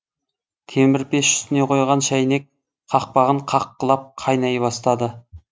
темір пеш үстіне қойған шайнек қақпағын қаққылап қайнай бастады